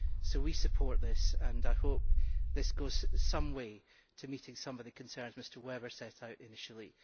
So we support this, and I hope that this goes some way to meeting some of the concerns Mr Weber set out initially.